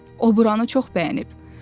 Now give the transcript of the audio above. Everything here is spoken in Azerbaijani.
O buranı çox bəyənib.